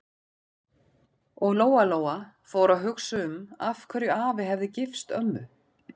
Og Lóa-Lóa fór að hugsa um af hverju afi hefði gifst ömmu.